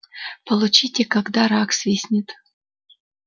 получите когда рак свистнет